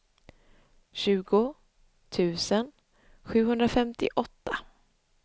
tjugo tusen sjuhundrafemtioåtta